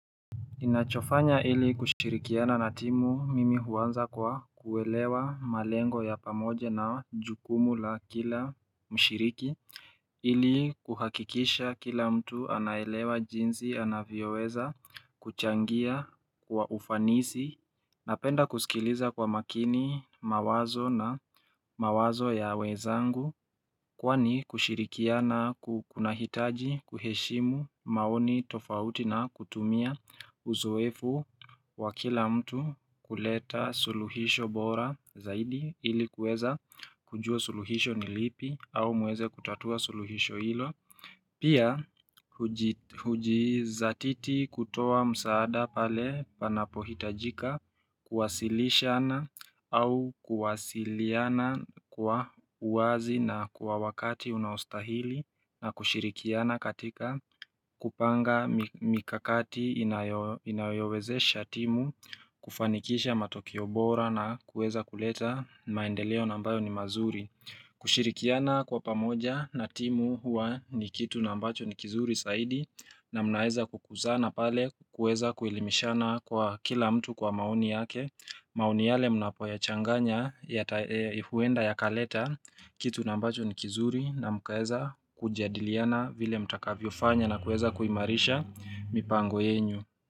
Ninachofanya ili kushirikiana na timu mimi huanza kwa kuelewa malengo ya pamoja na jukumu la kila mshiriki ili kuhakikisha kila mtu anaelewa jinsi anavyoweza kuchangia kwa ufanisi napenda kusikiliza kwa makini mawazo ya wezangu Kwani kushirikiana kunahitaji kuheshimu maoni tofauti na kutumia uzoefu wa kila mtu kuleta suluhisho bora zaidi ili kuweza kujua suluhisho ni lipi au muweze kutatua suluhisho ilo Pia hujizatiti kutoa msaada pale panapo hitajika kuwasilishana au kuwasiliana kwa uwazi na kwa wakati unaostahili na kushirikiana katika kupanga mikakati inayowezesha timu kufanikisha matokeo bora na kueza kuleta maendeleo na ambayo ni mazuri kushirikiana kwa pamoja na timu huwa ni kitu na ambacho ni kizuri saidi na munaeza kukuzana pale kueza kuelimishana kwa kila mtu kwa maoni yake maoni yale mnapo yachanganya huenda yakaleta Kitu na ambacho ni kizuri na mkaeza kujadiliana vile mtakavyofanya na kueza kuimarisha mipango yenyu.